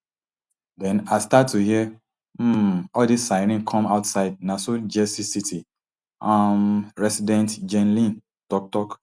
then i start to hear um all di sirens come outside na so jersey city um resident jenn lynk tok tok